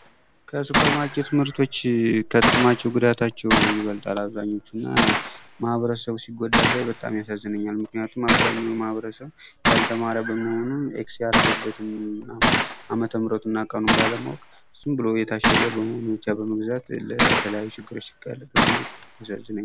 ከሱፐር ማርኬት ምርቶች ከጥቅማቸው ጉዳታቸው ይበልጣል አብዛኛው እና ማህበረሰቡ ሲጎዳ ሳይ በጣም ያሳዝነኛል ምክንያቱም አብዛኛው ማህብረሰብ ያልተማረ በመሆኑ ኤክስ ያረገበትን ዓመተ ምህረቱን እና ቀኑን ባለማወቅ ዝም ብሎ የታሸገ በመሆኑን ብቻ በመግዛት ለተለያዩ ችግሮች ሲጋለጥ በማየት ያሳዝነኛል።